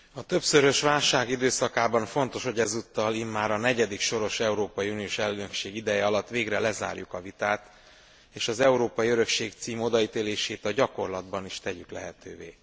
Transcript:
A többszörös válság időszakában fontos, hogy ezúttal immár a negyedik soros európai uniós elnökség ideje alatt végre lezárjuk a vitát, és az Európai Örökség cím odaítélését a gyakorlatban is tegyük lehetővé.